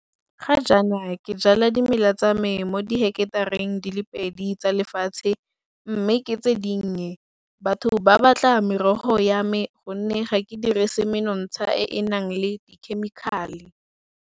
Ga jaana ke jala dimela tsa me mo diheketareng di le pedi tsa lefatshe mme ke tse dinnye. Batho ba batla merogo ya me gonne ga ke dirise menontsha e e nang le dikhemikhale.